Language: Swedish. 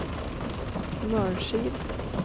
Mörsil